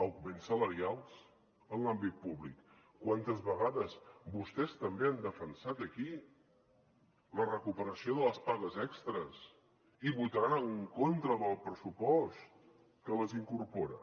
augments salarials en l’àmbit públic quantes vegades vostès també han defensat aquí la recuperació de les pagues extres i votaran en contra del pressupost que les incorpora